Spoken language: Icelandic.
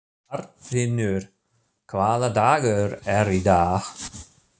Arnfinnur, hvaða dagur er í dag?